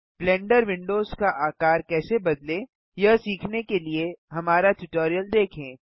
blender windows का आकार कैसे बदलें यह सीखने के लिए हमारा ट्यूटोरियल देखें